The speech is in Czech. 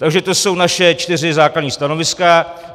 Takže to jsou naše čtyři základní stanoviska.